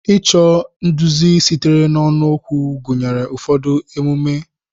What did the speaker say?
Ịchọ nduzi sitere n'ọnụ okwu gụnyere ụfọdụ emume/ememe.